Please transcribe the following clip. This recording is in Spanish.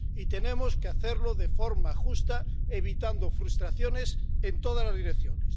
Y tenemos que hacerlo de forma justa, evitando frustraciones en todas las direcciones.